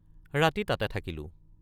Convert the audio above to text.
ৰাতি তাতে থাকিলোঁ।